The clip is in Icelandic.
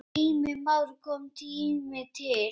Heimir Már: Kominn tími til?